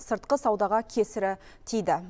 сыртқы саудаға кесірі тиді